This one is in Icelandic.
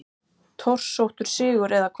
Torsóttur sigur eða hvað?